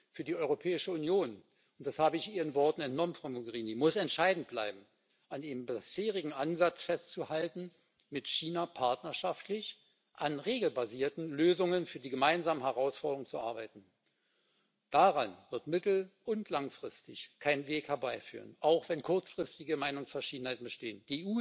Für die Europäische Union und das habe ich Ihren Worten entnommen, Frau Mogherini muss entscheidend bleiben, an dem bisherigen Ansatz festzuhalten, mit China partnerschaftlich an regelbasierten Lösungen für die gemeinsamen Herausforderungen zu arbeiten. Daran wird mittel und langfristig kein Weg vorbeiführen, auch wenn kurzfristige Meinungsverschiedenheiten bestehen.